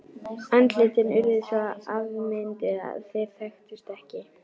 Andlitin urðu svo afmynduð að þeir þekktust ekki.